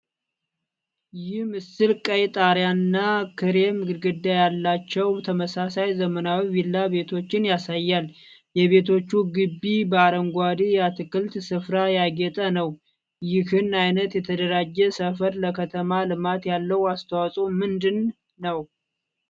ይህ ምስል ቀይ ጣሪያና ክሬም ግድግዳ ያላቸው ተመሳሳይ ዘመናዊ ቪላ ቤቶችን ያሳያል። የቤቶቹ ግቢ በአረንጓዴ የአትክልት ስፍራዎች ያጌጠ ነው። ይህን ዓይነት የተደራጀ ሰፈር ለከተማ ልማት ያለው አስተዋጽዖ ምንድን ነው?